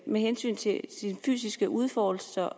med hensyn til sin fysiske udfoldelse